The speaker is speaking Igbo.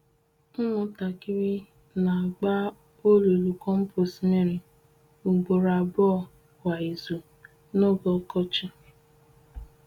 Ụmụntakịrị n’agba olulu kompost mmiri ugboro abụọ kwa izu n'oge ọkọchị.